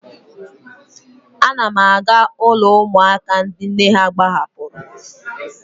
Ana m aga ụlọ ụmụaka ndị nne ha gbahapụrụ.